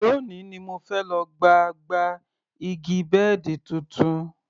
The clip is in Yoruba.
Lónìí ni mo fẹ́ lọ gba gba igi bẹ́ẹ̀dì tuntun